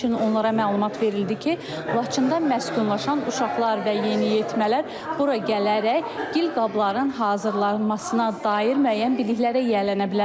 Həmçinin onlara məlumat verildi ki, Laçında məskunlaşan uşaqlar və yeniyetmələr bura gələrək gil qabların hazırlanmasına dair müəyyən biliklərə yiyələnə bilərlər.